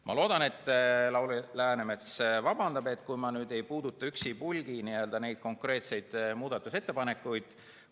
Ma loodan, et Lauri Läänemets vabandab, kui ma ei puuduta üksipulgi neid konkreetseid muudatusettepanekuid.